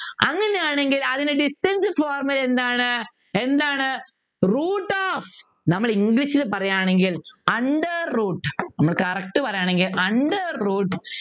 അങ്ങനെയാണെങ്കിൽ അതിൻ്റെ distance formula എന്താണ് എന്താണ് Root of നമ്മൾ english ൽ പറയാണെങ്കിൽ under root നമ്മള് correct പറയാണെങ്കിൽ under root